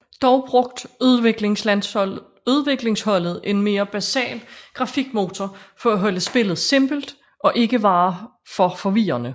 Dog brugt udviklingsholdet en mere basal grafikmotor for at holde spillet simpelt og ikke være for forvirrende